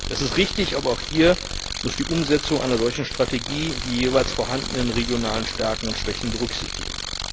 Das ist richtig, aber auch hier muss die Umsetzung einer solchen Strategie die jeweils vorhandenen regionalen Stärken und Schwächen berücksichtigen.